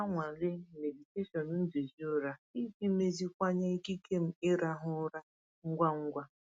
Ana m anwale meditation nduzi ụra iji meziwanye ikike m ịrahụ ụra ngwa ngwa.